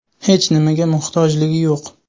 Hech nimaga muhtojligi yo‘q.